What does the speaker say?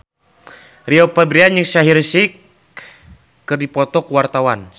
Rio Febrian jeung Shaheer Sheikh keur dipoto ku wartawan